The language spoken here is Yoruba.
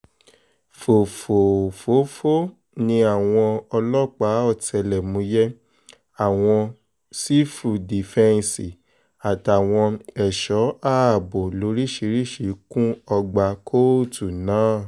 fòfòófó ni àwọn ọlọ́pàá ọ̀tẹlẹ̀múyẹ́ àwọn sífù dífẹ́ǹsì àtàwọn ẹ̀ṣọ́ ààbò lóríṣìíríṣìí kún ọgbà kóòtù náà